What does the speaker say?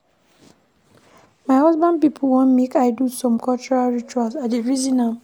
My husband pipo wan make I do some cultural rituals, I dey reason am.